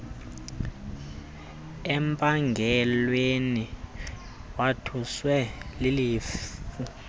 empangelweni wothuswa lilifu